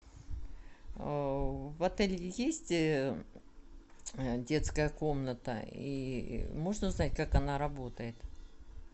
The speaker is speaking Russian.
в отеле есть детская комната и можно узнать как она работает